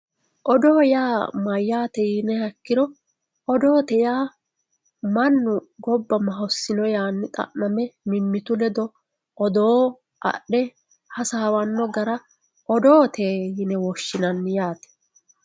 odoo yaa mayyaate yiniha ikiro odoote yaa mannu gobba mahossino yanni xa'me mimmitu lede odoo adhe hasaawanno gara odoote yine woshshinanni yaate.